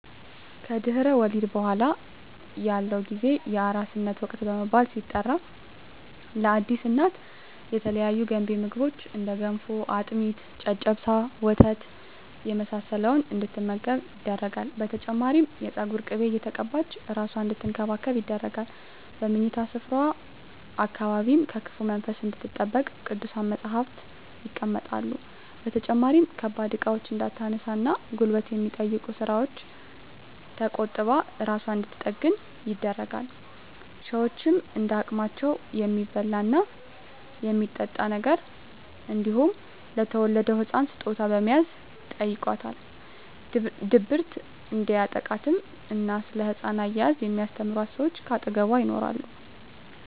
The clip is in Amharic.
ከድህረ ወሊድ በኃላ ያለው ጊዜ የአራስነት ወቅት በመባል ሲጠራ ለአዲስ እናት የተለያዩ ገንቢ ምግቦች እንደ ገንፎ፣ አጥሚት፣ ጨጨብሳ፣ ወተት የመሳሰለውን እንድትመገብ ይደረጋል። በተጨማሪም የፀጉር ቅቤ እየተቀባች እራሷን አንድትንከባከብ ይደረጋል። በምኝታ ስፍራዋ አካባቢም ከክፉ መንፈስ እንድትጠበቅ ቅዱሳት መፀሃፍት ይቀመጣሉ። በተጨማሪም ከባድ እቃዎችን እንዳታነሳ እና ጉልበት ከሚጠይቁ ስራወች ተቆጥባ እራሷን እንድንትጠግን ይደረጋል። ሸወችም እንደ አቅማቸው የሚበላ እና የሚጠጣ ነገር እንዲሁም ለተወለደዉ ህፃን ስጦታ በመያዝ ይጨይቋታል። ድብርት እንዲያጠቃትም እና ስለ ህፃን አያያዝ የሚስተምሯት ሰወች ከአጠገቧ ይኖራሉ።